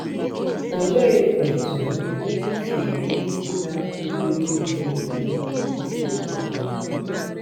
Olee otú i si ele ndị na-akụziri mba niile eziokwu anya?